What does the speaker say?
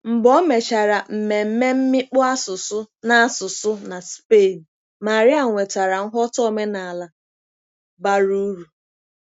Mgbe o mechara mmemme mmikpu asụsụ na asụsụ na Spain, Maria nwetara nghọta omenala bara uru.